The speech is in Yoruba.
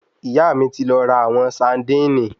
Ìyá mí ti lọ ra àwọn saandíìnì